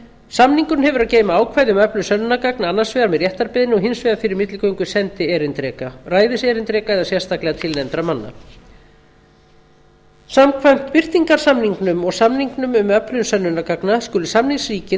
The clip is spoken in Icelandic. samningurinn hefur að geyma ákvæði um öflun sönnunargagna annars vegar með réttarbeiðni og hins vegar fyrir milligöngu sendierindreka ræðiserindreka eða sérstaklega tilnefndra manna samkvæmt birtingarsamningnum og samningnum um öflun sönnunargagna skulu samningsríkin